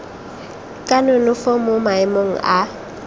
ka nonofo mo maemong a